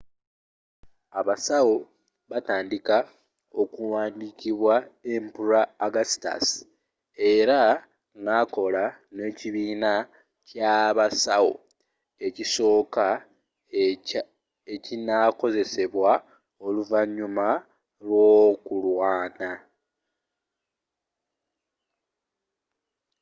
abasawo batandika okuwandiikibwa emperor augustus era nakola n'ekibiina ky'abasawo ekisooka ekinakozesebwa oluvannyuma lw'okulwana